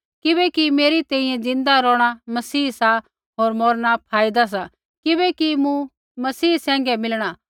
किबैकि मेरै तैंईंयैं ज़िंदा रौहणा मसीह सा होर मौरना फायदा सा किबैकि मूँ मसीह सैंघै मिलणा